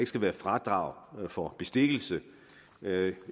skal være fradrag for bestikkelse jeg